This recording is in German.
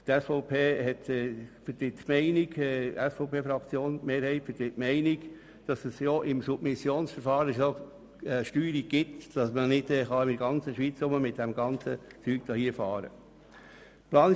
Die SVP vertritt die Meinung, dass es im Submissionsverfahren bereits so viel Steuerung gibt, dass man ohnehin mit Kies nicht in der ganzen Schweiz herumfahren kann.